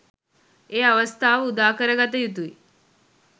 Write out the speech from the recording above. ඒ අවස්ථාව උදා කරගත යුතුයි.